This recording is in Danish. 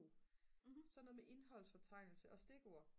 sådan noget som indholdsfortegnelse og stikord